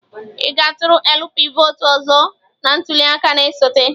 Ị ga-atụrụ LP vọọtụ ọzọ na ntuli aka na-esote?